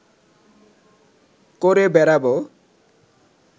করে বেড়াব